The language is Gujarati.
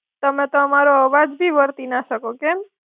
તમે તો અમારો અવાજ ભી વર્તી ના શકો, કેમ?